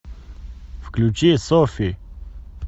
включи софи